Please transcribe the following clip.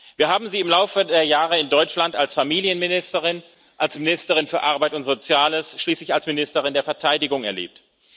Wir haben Sie im Laufe der Jahre in Deutschland als Familienministerin, als Ministerin für Arbeit und Soziales, schließlich als Ministerin der Verteidigung erlebt.